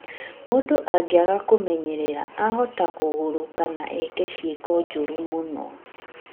Mũndũ angĩaga kũmenyerera ahota kũgarũrũka na eeke ciĩko njũru mũno